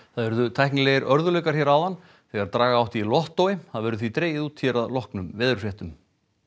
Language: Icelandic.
það urðu tæknilegir örðugleikar hér áðan þegar draga átti í Lottói það verður því dregið út hér að loknum veðurfréttum